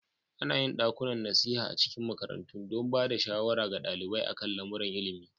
Ana yin ɗakunan nasiha a cikin makarantu don ba da shawara ga ɗalibai a kan lamuran ilimi.